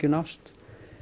nást